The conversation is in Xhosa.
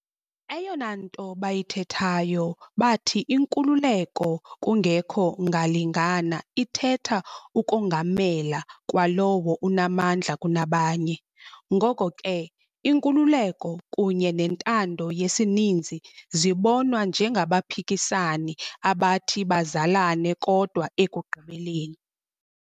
Eyona nto bayithethayo bathi inkululeko kungekho ngalingana ithetha ukongamela kwalowo unamandla kunabanye. Ngoko ke, inkululeko kunye nentando yesininzi zibonwa njengabaphikisani abathi bazalane kodwa ekugqibeleni.